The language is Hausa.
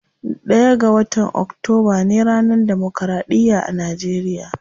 Ɗaya ga watan octoba ne ranar democraɗiya a nageriya.